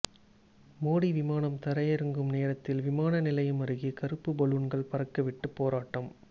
மோடி விமானம் தரையிறங்கும் நேரத்தில் விமானநிலையம் அருகே கறுப்பு பலூன்கள் பறக்கவிட்டு போராட்டம்